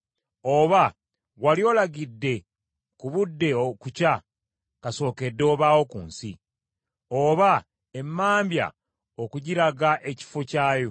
“Oba wali olagidde ku budde okukya kasookedde obaawo ku nsi, oba emmambya okugiraga ekifo kyayo,